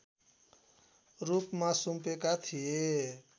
रूपमा सुम्पेका थिए